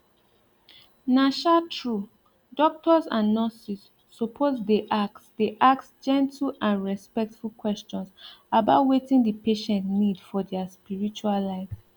na um true doctors and nurses suppose dey ask dey ask gentle and respectful questions about wetin the patient need for their spiritual life